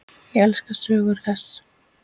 Ég elska sögur þess.